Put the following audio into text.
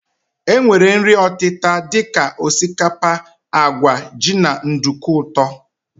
E nwere nri ọtịta dika osikapa, àgwà, jị na nduku ụtọ.